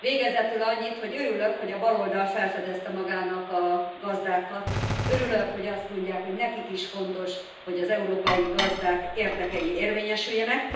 Végezetül annyit, hogy örülök, hogy a baloldal felfedezte magának a gazdákat, örülök, hogy azt mondják, hogy nekik is fontos, hogy az európai gazdák érdekei érvényesüljenek.